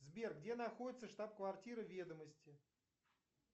сбер где находится штаб квартира ведомости